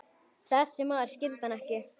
Þessi maður skildi hann ekki.